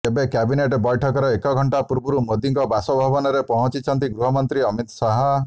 ତେବେ କ୍ୟାବିନେଟ ବୈଠକର ଏକ ଘଣ୍ଟା ପୂର୍ବରୁ ମୋଦିଙ୍କ ବାସଭବନରେ ପହଞ୍ଚିଛନ୍ତି ଗୃହମନ୍ତ୍ରୀ ଅମିତ ଶାହ